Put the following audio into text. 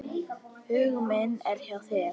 Hugur minn er hjá þér.